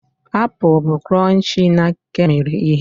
Apụl bụ cronchii na kemmiri ihe.